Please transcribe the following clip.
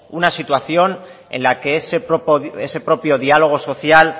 una situación en la que ese propio diálogo social